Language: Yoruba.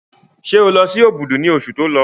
Ṣé o lọ sí Òbùdù ní oṣù tí o lọ?